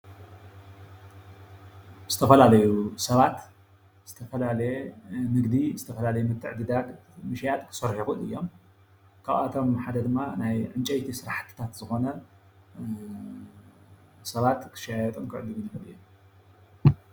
ዝተፈላለዩ ሰባት ዝተፈላለየ ንግዲ ዝተፈላለየ ምትዕድዳግ ካብአቶም ሓደ ድማ ናይ ዕንጨይቲ ስራሕቲ ክስርሑ ሰባት ክሽጡን ክዕድጉን ይኽእሉ እዮም ።